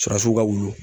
Surasiw ka wulu